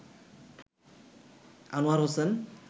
Anwar Hossain